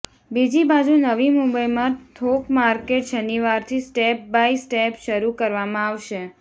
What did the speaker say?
બીજી બાજુ નવી મુંબઈમાં થોક માર્કેટ શનિવારથી સ્ટેપ બાય સ્ટેપ શરુ કરવામાં આવશે